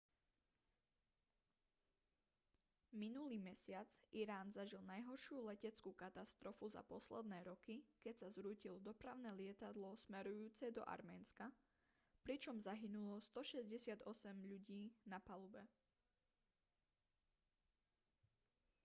minulý mesiac irán zažil najhoršiu leteckú katastrofu za posledné roky keď sa zrútilo dopravné lietadlo smerujúce do arménska pričom zahynulo 168 ľudí na palube